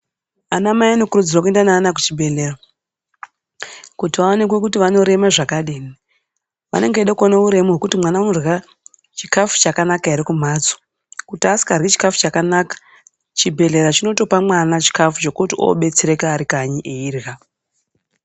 Ana mai vanokurudzirwe kuenda nevana kuzvibhedhleya kuti vaonekwe kuti vanorema zvakadini. Vanenge vaide kuona kuti mwana unodya chikafu chakanaka here kumhatso. Kuti asingadyi chikafu chakanaka chibhedhleya chinotopa mwana chikafu chokuti obetsereka ari khanyi eyidya.